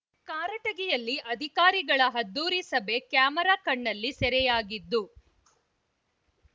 ಕಾರಟಗಿಯಲ್ಲಿ ಅಧಿಕಾರಿಗಳ ಅದ್ಧೂರಿ ಸಭೆ ಕ್ಯಾಮೆರಾ ಕಣ್ಣಲ್ಲಿ ಸೆರೆಯಾಗಿದ್ದು